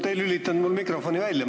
Te ei lülitanud mul mikrofoni välja.